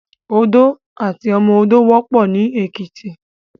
Odó àti ọmọ odó wòpò ni Ekiti